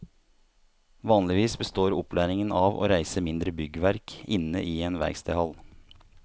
Vanligvis består opplæringen av å reise mindre byggverk inne i en verkstedhall.